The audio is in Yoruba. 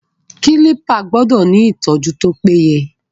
Kílípà gbọ́dọ̀ ni ìtọ́jú tó péye.